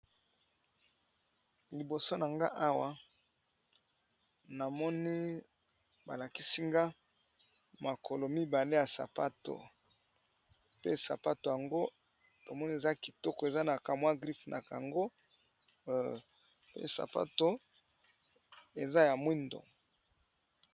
Liboso na nga awa namoni balakisi nga makolo mibale ya sapato. Pe sapato yango lamoni eza kitoko eza na kamwa gripe na cango pe sapato eza ya mwindo.